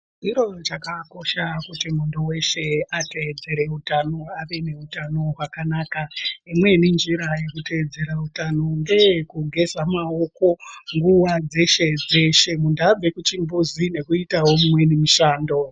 Chiro chakakosha kuti muntu weshe ateedzere utano ave neutano hwakanaka. Imweni njira yekuteedzera utano ngeyekugeza maoko nguwa dzeshe dzeshe, muntu abve kuchimbuzi nekuitawo imweni mishando.